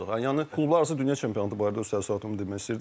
Yəni klublar arası dünya çempionatı barədə öz təəssüratımı demək istəyirdim.